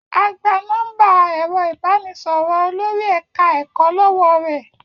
A gba nọ́ḿbà ẹ̀rọ ìbánisọ̀rọ̀ Olori eka-eko lọ́wọ́ rẹ̀.